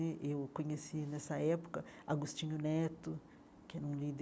Eh eu conheci, nessa época, Agostinho Neto, que era um líder